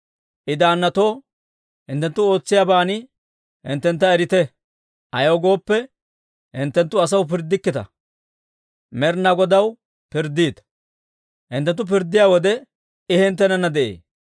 I daannatoo, «Hinttenttu ootsiyaaban hinttentta erite. Ayaw gooppe, hinttenttu asaw pirddikkita; Med'inaa Godaw pirddiita. Hinttenttu pirddiyaa wode, I hinttenana de'ee.